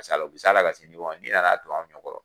o bɛ s'a la ka se n'i na na don an ɲɛkɔrɔ